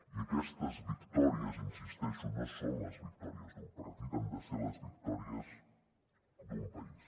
i aquestes victòries hi insisteixo no són les victòries d’un partit han de ser les victòries d’un país